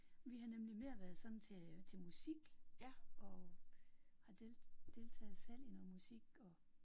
Vi har nemlig mere været sådan til til musik og har deltaget selv i noget musik og